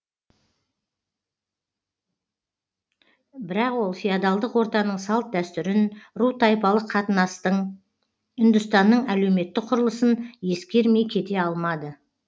бірақ ол феодалдық ортаның салт дәстүрін ру тайпалық қатынастың үндістанның әлеуметтік құрылысын ескермей кете алмады